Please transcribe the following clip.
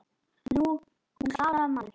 Nú, hún Klara, maður!